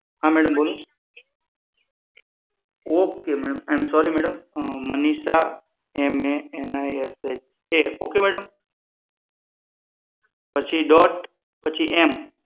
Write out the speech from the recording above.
હા મેડમ બોલો okay madam I am sorry madam Manisha M A N I S H A okay madam પછી dot પછી એમ